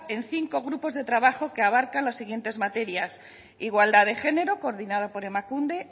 en cinco grupos de trabajo que abarcan las siguientes materias igualdad de género coordinado por emakunde